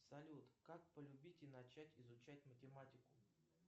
салют как полюбить и начать изучать математику